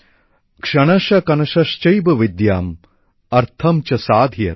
ক্ষণশ কণাশশ্চৈব বিদ্যাম অর্থ চ সাধয়েৎ